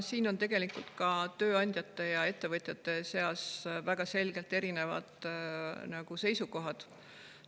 Siin on tegelikult ka tööandjate ja ettevõtjate seas väga selgelt erinevaid seisukohti.